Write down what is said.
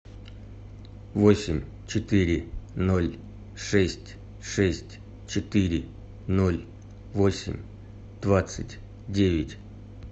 восемь четыре ноль шесть шесть четыре ноль восемь двадцать девять